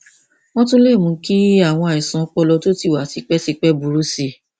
wọn tún lè mú kí àwọn àìsàn ọpọlọ tó ti wà tipẹtipẹ burú sí i